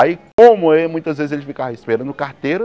Aí como muitas vezes ele ficava esperando o carteiro,